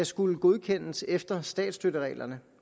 skulle godkendes efter statsstøttereglerne